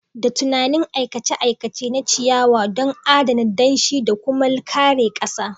Da tunani aikace-aikace na ciyawa don adana danshi da kuma kare ƙasa.